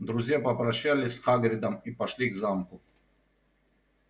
друзья попрощались с хагридом и пошли к замку